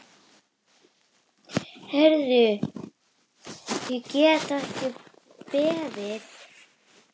Heyrðu, ég get ekki beðið.